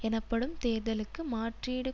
எனப்படும் தேர்தலுக்கு மாற்றீடு